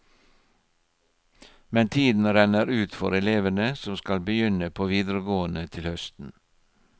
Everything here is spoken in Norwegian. Men tiden renner ut for elevene som skal begynne på videregående til høsten.